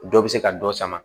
Dɔ bɛ se ka dɔ sama